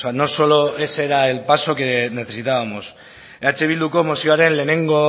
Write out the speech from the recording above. no solo ese era el paso que necesitábamos eh bilduko mozioaren lehenengo